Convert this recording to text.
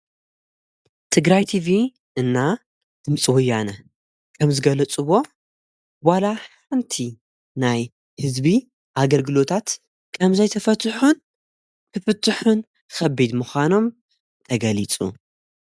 ትግራይ ቲፊ እና ድምፂ ውያነ ከም ዝገለጹዎ ዋላ ሓንቲ ናይ ሕዝቢ ኣገርግሎታት ቀም ዘይተፈትሑን ብፍትሑን ኸቢድ ምዃኖም ተገሊጹ።